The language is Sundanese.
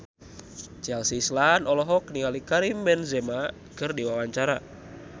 Chelsea Islan olohok ningali Karim Benzema keur diwawancara